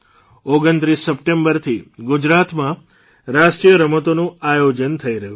૨૯ સપ્ટેંબરથી ગુજરાતમાં રાષ્ટ્રીય રમતોનું આયોજન થઇ રહ્યું છે